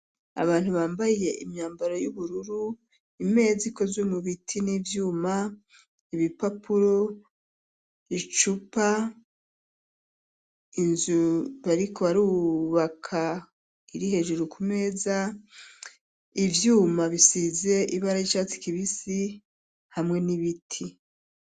Abantu bambaye, imyambaro yubururu; imeza ikozwe mu biti, n'ivyuma; ibipapuro, icupa, inzu bariko barubaka, iri hejuru ku meza; ivyuma bisize ibara ry'icatsi kibisi, hamwe n'ibiti.